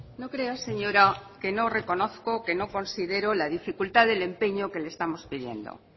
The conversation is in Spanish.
no crea señora que no reconozco que no considero la dificultad del empeño que le estamos pidiendo